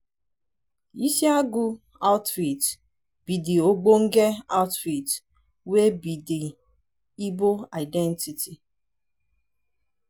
isiagu outfit be de ogbenge attire wey be de igbo identity.